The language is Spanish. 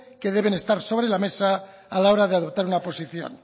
que deben estar sobre la mesa a la hora de adoptar una posición